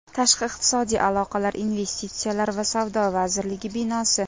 Tashqi iqtisodiy aloqalar, investitsiyalar va savdo vazirligi binosi.